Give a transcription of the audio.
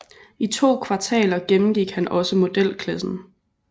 I to kvartaler gennemgik han også modelklassen